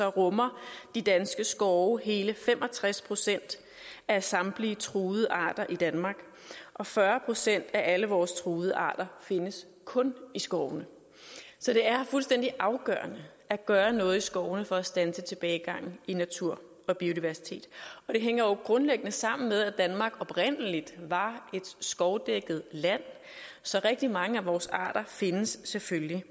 rummer de danske skove hele fem og tres procent af samtlige truede arter i danmark og fyrre procent af alle vores truede arter findes kun i skovene så det er fuldstændig afgørende at gøre noget i skovene for at standse tilbagegangen i naturen og biodiversiteten og det hænger jo grundlæggende sammen med at danmark oprindelig var et skovdækket land så rigtig mange af vores arter findes selvfølgelig